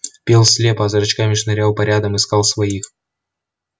пел слепо а зрачками шнырял по рядам искал своих